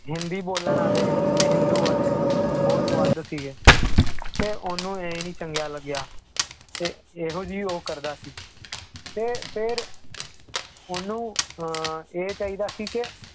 ਹਿੰਦੀ ਬੋਲਣ ਵਾਲੇ ਤੇ ਹਿੰਦੂ ਵਾਲੇ ਬਹੁਤ ਵੱਧ ਸੀਗੇ, ਤੇ ਉਹਨੂੰ ਇਹ ਨੀ ਚੰਗਿਆ ਲੱਗਿਆ ਤੇ ਇਹੋ ਜਿਹੀ ਉਹ ਕਰਦਾ ਸੀ ਤੇ ਫਿਰ ਉਹਨੂੰ ਅਹ ਇਹ ਚਾਹੀਦਾ ਸੀ ਕਿ